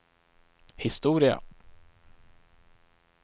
historia